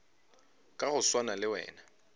ka go swana le wena